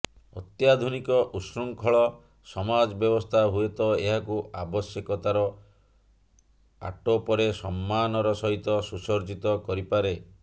ଅତ୍ୟାଧୁନିକ ଉଚ୍ଛୃଙ୍ଖଳ ସମାଜ ବ୍ୟବସ୍ଥା ହୁଏତ ଏହାକୁ ଆବଶ୍ୟକତାର ଆଟୋପରେ ସମ୍ମାନର ସହିତ ସୁସଜ୍ଜିତ କରିପାରେ